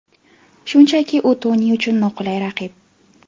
Shunchaki u Toni uchun noqulay raqib.